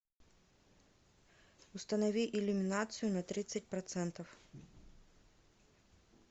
установи иллюминацию на тридцать процентов